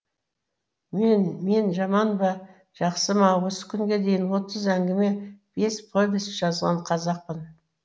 мен мен жаман ба жақсы ма осы күнге дейін отыз әңгіме бес повесть жазған қазақпын